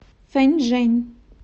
фэнчжэнь